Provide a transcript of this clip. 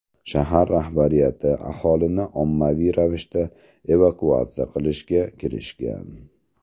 Shahar rahbariyati aholini ommaviy ravishda evakuatsiya qilishga kirishgan.